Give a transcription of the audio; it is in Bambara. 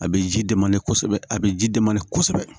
A bɛ ji dɛmɛ ni kosɛbɛ a bɛ ji dɛmɛ ni kosɛbɛ